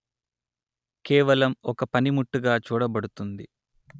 కేవలం ఒక పనిముట్టుగా చూడబడుతుంది